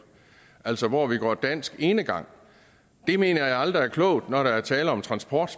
altså hvor vi går dansk enegang det mener jeg aldrig er klogt når der er tale om transport